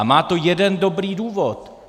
A má to jeden dobrý důvod.